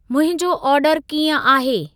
मुंहिंजो ऑर्डर कींअ आहे?